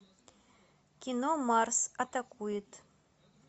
кино марс атакует